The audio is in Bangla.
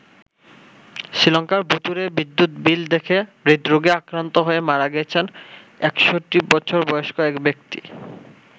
শ্রীলঙ্কায় ভূতুড়ে বিদ্যুৎ বিল দেখে হৃদরোগে আক্রান্ত হয়ে মারা গেছেন ৬১ বছর বয়স্ক এক ব্যক্তি।